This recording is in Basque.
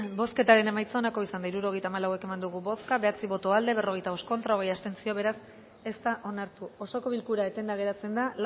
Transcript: bozketaren emaitza onako izan da hirurogeita hamalau eman dugu bozka bederatzi boto aldekoa berrogeita bost contra hogei abstentzio beraz ez da onartu osoko bilkura etenda geratzen da